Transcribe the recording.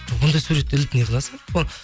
ондай суретті іліп не қыласың